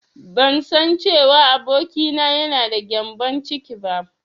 Bansan cewa abokina yana da gyambon ciki ba.